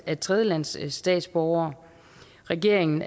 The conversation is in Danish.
af tredjelandsstatsborgere og regeringen